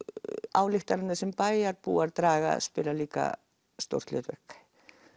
ályktanirnar sem bæjarbúa draga spila líka stórt hlutverk